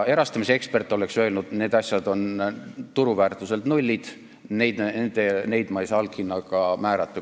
Erastamisekspert oleks öelnud, et nende turuväärtus on null, neile ei saa alghinda määrata.